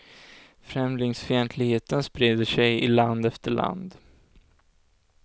Främlingsfientligheten sprider sig i land efter land.